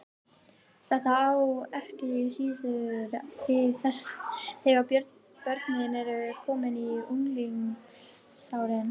Þetta á ekki síður við þegar börnin eru komin á unglingsárin.